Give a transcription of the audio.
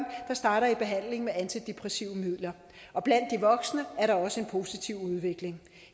der starter i behandlingen med antidepressive midler og blandt de voksne er der også en positiv udvikling